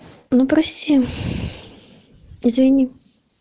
ну прости извини